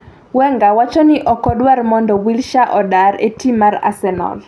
Wenger wacho ni ok odwar mondo Wilshere odar e tim mar Arsenal